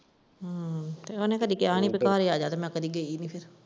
ਹਮ ਉਹਨੇ ਕਦੀ ਕਿਹਾ ਨਹੀਂ ਤੂੰ ਘਰ ਆਜਾ ਤੇ ਮੈਂ ਕਦੀ ਗਈ ਨਹੀਂ।